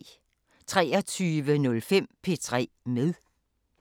23:05: P3 med